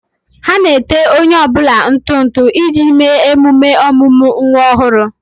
Ha na-ete onye ọ bụla ntụ ntụ iji mee ememe ọmụmụ nwa ọhụrụ.